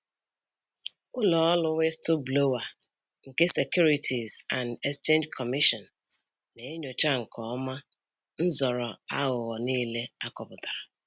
Ụlọ ọrụ Whistleblower nke Securities and Exchange Commission na-enyocha nke ọma nzọrọ aghụghọ niile akọpụtara